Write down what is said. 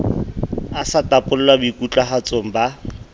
a sa topalla boikutlwahatsong ba